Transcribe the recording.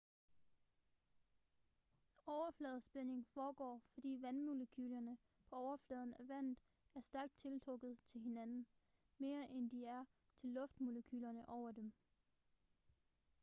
overfladespænding foregår fordi vandmolekylerne på overfladen af vandet er stærkt tiltrukket til hinanden mere end de er til luftmolekylerne over dem